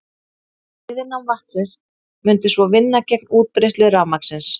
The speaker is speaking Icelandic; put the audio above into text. Viðnám vatnsins mundi svo vinna gegn útbreiðslu rafmagnsins.